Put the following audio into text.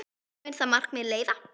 Hvert mun það markmið leiða?